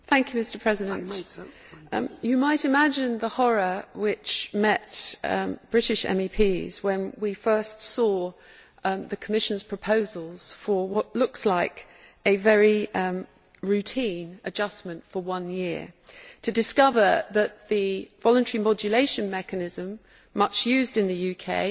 Mr President, you might imagine the horror which British MEPs felt when we first saw the Commission's proposals for what looks like a very routine adjustment for one year, only to discover that the voluntary modulation mechanism, much used in the UK,